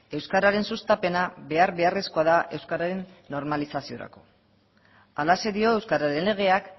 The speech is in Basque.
euskararen sustapena behar beharrezkoa da euskararen normalizaziorako halaxe dio euskararen legeak